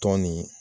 Tɔn nin